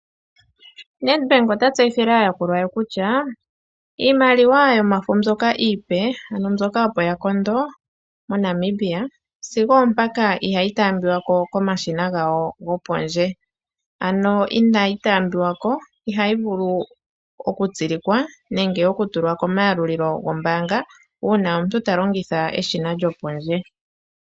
Nedbank ota tseyithile aayakulwa ye kutya iimaliwa yomafo mbyoka iipe,. Ano mbyoka opo ya kondo moNamibia sigo ompaka ihayi taambiwako komashina gawo gopondje, ano inayi taambiwako, ihayi vulu oku tsilikwa nenge oku tulwa komayalulilo gombaanga una omuntu ta longitha eshina lyopondje.